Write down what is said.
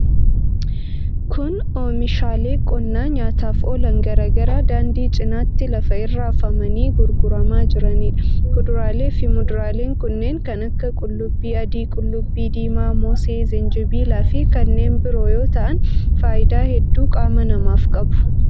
Kun, oomishaalee qonnaa nyaataf oolan garaa garaa daandii cinaatti lafa irra afamanii gurguramaa jiranii dha. Kuduraalee fi muduraaleen kunneen kan akka:qullubbii adii, qullubbii diimaa, moosee, zinjibila fi kanneen biroo yoo ta'an ,faayidaa hedduu qaama namaaf qabu.